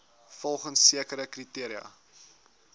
volgens sekere kriteria